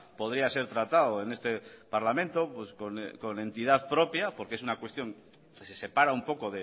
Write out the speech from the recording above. podría ser tratado en este parlamento con entidad propia porque es una cuestión que se separa un poco